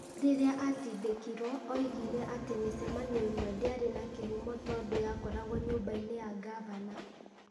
Rĩrĩa atindĩkirwo, oigire atĩ mĩcemanio ĩmwe ndĩarĩ ya kĩhumo tondũ yakoragwo nyũmba-inĩ ya ngavana.